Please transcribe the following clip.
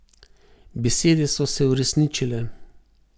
Besede so se uresničile.